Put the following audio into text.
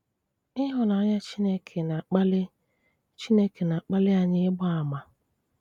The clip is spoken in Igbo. Ị́hụ́nanyà Chineke na-akpali Chineke na-akpali anyị ị́gba àmà.